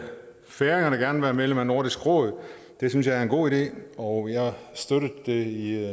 færingerne gerne være medlem af nordisk råd det synes jeg er en god idé og jeg har støttet det i